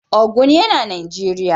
Ogun yana Najeriya.